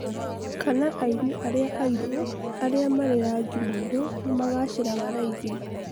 kana aini arĩa airũ aria marĩ rangi 'mwerũ' nĩmagaciraga raĩthi?